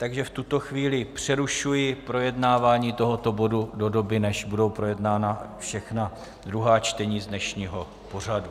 Takže v tuto chvíli přerušuji projednávání tohoto bodu do doby, než budou projednána všechna druhá čtení z dnešního pořadu.